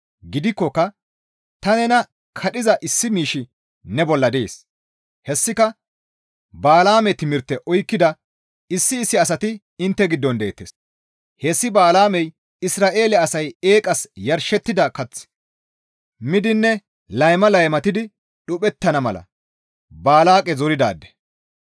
Gidikkoka ta nena kadhiza issi miishshi ne bolla dees; hessika Bala7aame timirte oykkida issi issi asati intte giddon deettes; hessi Bala7aamey Isra7eele asay eeqas yarshettida kath miidinne layma laymatidi dhuphettana mala Baalaaqe zoridaade.